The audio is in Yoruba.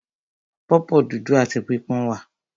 Pọ̀pọ́ dúdú áti pípọ́n wà.